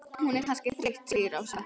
Hún er kannski þreytt segir Ása.